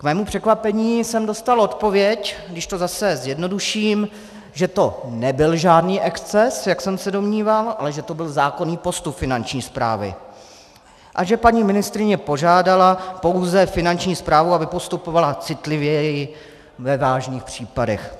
K mému překvapení jsem dostal odpověď, když to zase zjednoduším, že to nebyl žádný exces, jak jsem se domníval, ale že to byl zákonný postup Finanční správy a že paní ministryně požádala pouze Finanční správu, aby postupovala citlivěji ve vážných případech.